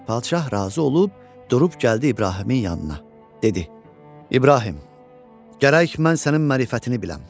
Padişah razı olub, durub gəldi İbrahimin yanına, dedi: "İbrahim, gərək mən sənin mərifətini biləm.